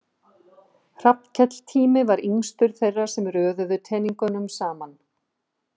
Hrafnkell Tími var yngstur þeirra sem röðuðu teningnum saman.